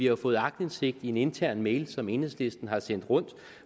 jo fået aktindsigt i en intern mail som enhedslisten har sendt rundt